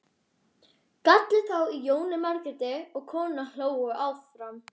gall þá í Jónu Margréti og konurnar hlógu áfram.